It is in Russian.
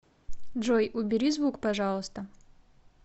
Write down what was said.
джой убери звук пожалуйста